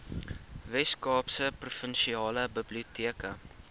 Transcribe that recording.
weskaapse provinsiale biblioteke